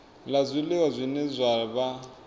la zwiliwa zwine zwa vha